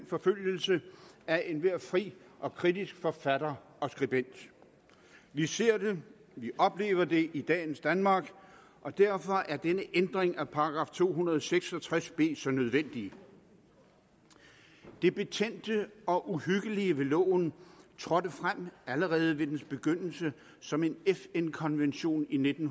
forfølgelse af enhver fri og kritisk forfatter og skribent vi ser det vi oplever det i dagens danmark og derfor er denne ændring af § to hundrede og seks og tres b så nødvendig det betændte og uhyggelige ved loven trådte frem allerede ved dens begyndelse som en fn konvention i nitten